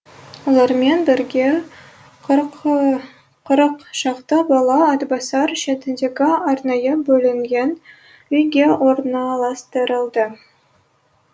олармен бірге қырық шақты бала атбасар шетіндегі арнайы бөлінген үйге орналастырылды